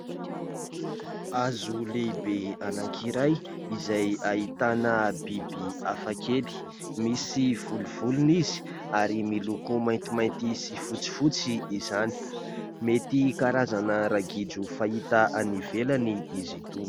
Hazo lehibe anankiray izay ahitana biby hafakely. Misy volovolony izy ary miloko maintimainty sy fotsifotsy izany. Mety karazana ragidro fahita any ivelany izy itony.